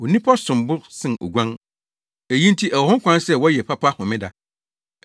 Onipa som bo sen oguan! Eyi nti ɛwɔ ho kwan sɛ wɔyɛ papa Homeda.”